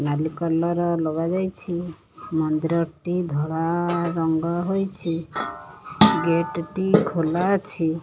ନାଲି କଲର୍ ଲଗାଯାଇଛି ମନ୍ଦିରଟି ଧଳା ରଙ୍ଗ ହୋଇଛି ଗେଟ୍ ଟି ଖୋଲା ଅଛି।